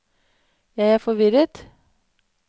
jeg er forvirret